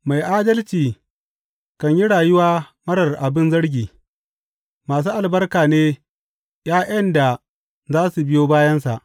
Mai adalci kan yi rayuwa marar abin zargi; masu albarka ne ’ya’yan da za su biyo bayansa.